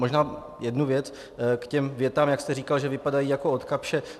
Možná jednu věc k těm větám, jak jste říkal, že vypadají jako od Kapsch.